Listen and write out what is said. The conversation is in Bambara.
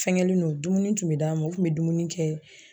Fɛngɛlen don dumuni tun be d'a ma u tun be dumuni kɛ